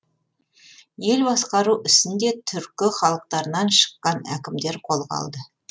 ел басқару ісін де түркі халықтарынан шыққан әкімдер қолға алды